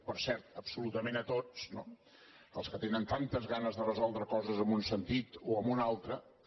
per cert absolutament a tots no als que tenen tantes ganes de resoldre coses en un sentit o en un altre també